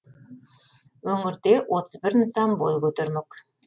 өңірде отыз бір нысан бой көтермек